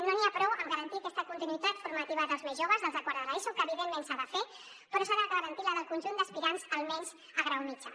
no n’hi ha prou amb garantir aquesta continuïtat formativa dels més joves dels de quart de l’eso que evidentment s’ha de fer però s’ha de garantir la del conjunt d’aspirants almenys a grau mitjà